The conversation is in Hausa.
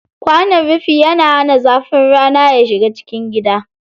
Kwanon rufi yana hana zafin rana ya shiga cikin gida.